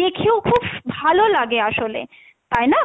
দেখেও খুব ভালো লাগে আসলে, তাই না?